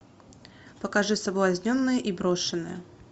покажи соблазненные и брошенные